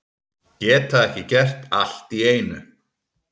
Geta ekki gert allt í einu